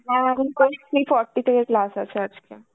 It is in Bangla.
আমার এখন forty থেকে class আছে আজকে.